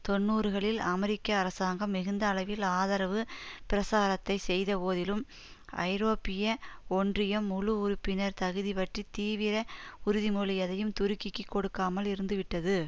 தொன்னூறுகளில் அமெரிக்க அரசாங்கம் மிகுந்த அளவில் ஆதரவு பிரசாரத்தை செய்தபோதிலும் ஐரோப்பிய ஒன்றியம் முழு உறுப்பினர் தகுதி பற்றி தீவிர உறுதிமொழி எதையும் துருக்கிக்கு கொடுக்காமல் இருந்து விட்டது